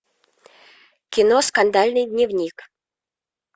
кино скандальный дневник